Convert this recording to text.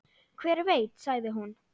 Hver veit sagði hún.